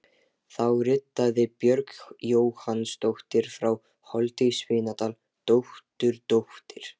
Þá ritaði Björg Jóhannsdóttir frá Holti í Svínadal, dótturdóttir